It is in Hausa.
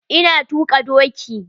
Ina tuaka dioki.